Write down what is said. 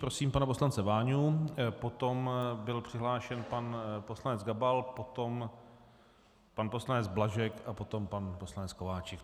Prosím pana poslance Váňu, potom byl přihlášen pan poslanec Gabal, potom pan poslanec Blažek a potom pan poslanec Kováčik.